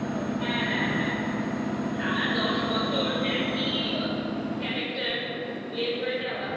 হ্যাঁ হ্যাঁ হ্যাঁ হ্যাঁ টানা দশ বছর একই character play করে যাওয়া